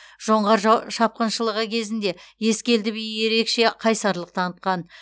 жоңғар жа шапқыншылығы кезінде ескелді би ерекше қайсарлық танытқан